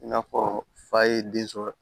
I n'a fɔ fa ye den sɔrɔ